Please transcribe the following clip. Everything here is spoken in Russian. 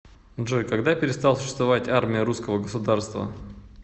джой когда перестал существовать армия русского государства